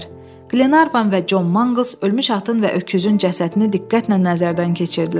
Qlenarvan və Con Manqls ölmüş atın və öküzün cəsədini diqqətlə nəzərdən keçirdilər.